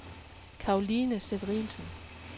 Caroline Severinsen